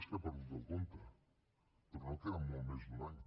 és que he perdut el compte però no queda molt més d’un any